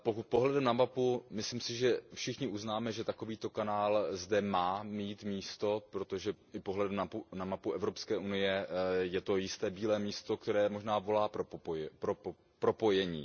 Pohledem na mapu všichni uznáme, že takovýto kanál zde má mít místo, protože při pohledu na mapu Evropské unie je to jisté bílé místo, které možná volá pro propojení.